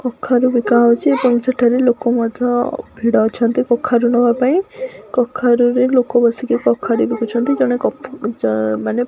କଖାରୁ ବିକା ହଉଚି ଏବଂ ସେଠାରେ ଲୋକ ମଧ୍ୟ ଭିଡ଼ ଅଛନ୍ତି କଖାରୁ ନବା ପାଇଁ କଖାରୁରେ ଲୋକ ବସିକି କଖାରୁ ବିକୁଛନ୍ତି ଜଣେ କଖଜଣେ ମାନେ--